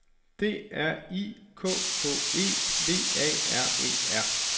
D R I K K E V A R E R